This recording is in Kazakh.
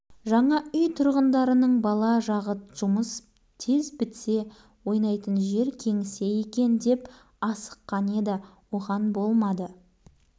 құрылыс қалдықтары экскаватормен сыпырылып машинаға тиелініп әкетіліп жатты басқа жұмыс шапшаң бітіп-ақ еді асфальт төсеу созылыңқырап